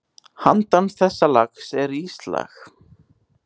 Handan þessa lags er íslag.